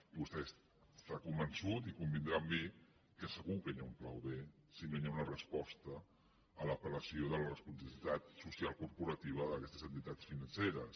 i vostè està convençut i convindrà amb mi que segur que hi ha un pla b si no hi ha una resposta a l’apel·lació de la responsabilitat social corporativa d’aques·tes entitats financeres